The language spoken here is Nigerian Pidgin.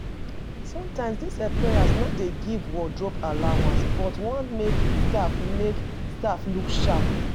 Sometimes di employer no dey give wardrobe allowance but want make staff make staff look sharp